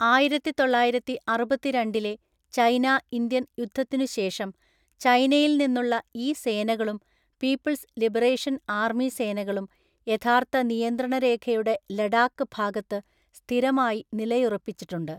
ആയിരത്തിതൊള്ളായിരത്തിഅറുപത്തിരണ്ടിലെ China Indian യുദ്ധത്തിനു ശേഷം, ചൈനയിൽ നിന്നുള്ള ഈ സേനകളും പീപ്പിൾസ് ലിബറേഷൻ ആർമി സേനകളും യഥാർത്ഥ നിയന്ത്രണ രേഖയുടെ ലഡാക്ക് ഭാഗത്ത് സ്ഥിരമായി നിലയുറപ്പിച്ചിട്ടുണ്ട്.